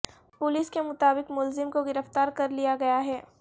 police کے مطابق ملزم کو گرفتار کرلیا گیا ہے